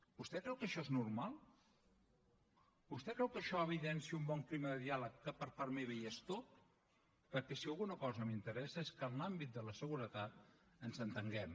vostè creu que això és normal vostè creu que això evidencia un bon clima de diàleg que per part meva hi és tot perquè si alguna cosa m’interessa és que en l’àmbit de la seguretat ens entenguem